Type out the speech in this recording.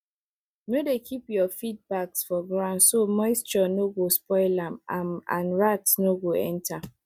no dey keep your feed bags for ground so moisture no go spoil am am and rats no go enter